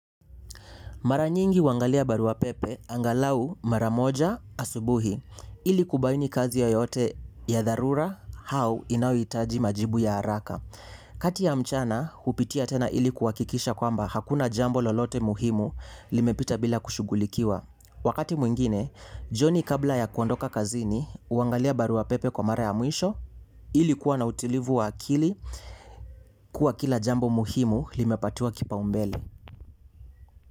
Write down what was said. Mara nyingi huangalia barua pepe angalau mara moja asubuhi ili kubaini kazi yoyote ya dharura au inayohitaji majibu ya haraka. Kati ya mchana hupitia tena ili kuhakikisha kwamba hakuna jambo lolote muhimu limepita bila kushughulikiwa. Wakati mwengine jioni kabla ya kuondoka kazini huangalia barua pepe kwa mara ya mwisho ili kuwa na utulivu wa akili kuwa kila jambo muhimu limepatiwa kipaumbele.